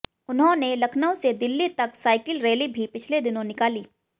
उन्होंने लखनऊ से दिल्ली तक साइकिल रैली भी पिछले दिनों निकाली